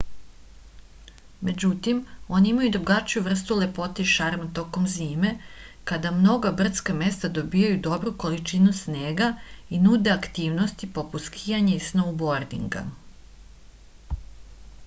međutim oni imaju drugačiju vrstu lepote i šarma tokom zime kada mnoga brdska mesta dobijaju dobru količinu snega i nude aktivnosti poput skijanja i snoubordinga